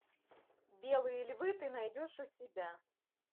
белые львы ты найдешь у себя